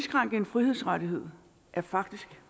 med